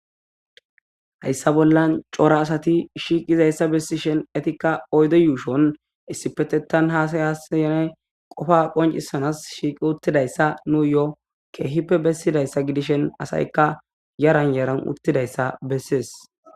Hayissa bollan cora asati shiiqizayssa bessi shen etikka oyde yuushon issi petetan hasayasyanay qofa qoncisanas shiiqi uttidayssa nuu yo'o keehippe bessidayssa gidishen asaykka yaran yaran uttidayssa bessees